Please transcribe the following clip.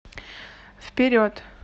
вперед